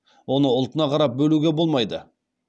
оны ұлтына қарап бөлуге болмайды